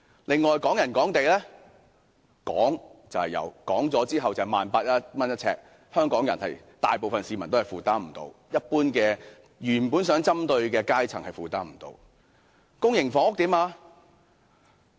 另外，港人港地，"講"是有的，但實際呎價近 18,000 元，是香港大部分市民都未能負擔的，更不是政策原先針對的階層所能負擔。